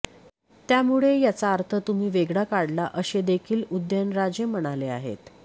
त्यामुळे याचा अर्थ तुम्ही वेगळा काढला असे देखील उदयनराजे म्हणाले आहेत